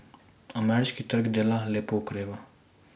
Ameriški trg dela lepo okreva.